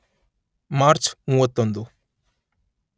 March ಮೂವತ್ತೊಂದು